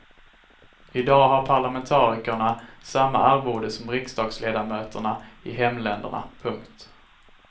I dag har parlamentarikerna samma arvode som riksdagsledamöterna i hemländerna. punkt